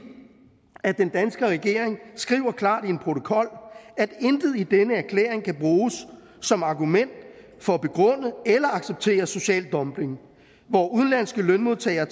at den danske regering skriver klart i en protokol at intet i denne erklæring kan bruges som argument for at begrunde eller acceptere social dumping hvor udenlandske lønmodtagere